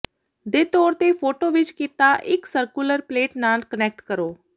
ਦੇ ਤੌਰ ਤੇ ਫੋਟੋ ਵਿੱਚ ਕੀਤਾ ਇੱਕ ਸਰਕੂਲਰ ਪਲੇਟ ਨਾਲ ਕੁਨੈਕਟ ਕਰੋ